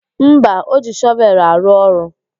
Mba, o ji shọvelụ arụ ọrụ.